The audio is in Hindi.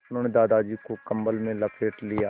उन्होंने दादाजी को कम्बल में लपेट दिया